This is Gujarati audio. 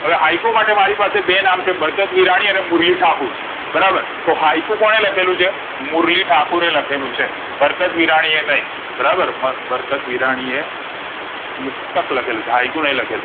હવે હાઈકુ માટે મારી પાસે બે નામ છે બરકત વીરાણી અને મુરલી ઠાકુર બરાર તો હાઈકુ કોને લખેલુ મુરલી ઠાકુરે બરકત વીરાણી એ નઈ બરાબર મર બરકત વીરાણીએ મુક્તક લખેલું છે